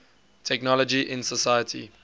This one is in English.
technology in society